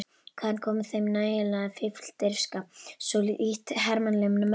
Hvaðan kom þeim nægjanleg fífldirfska, svo lítt hermannlegum mönnum?